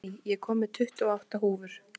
Benný, ég kom með tuttugu og átta húfur!